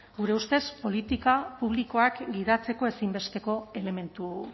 gure ustez politika publikoak gidatzeko ezinbesteko elementu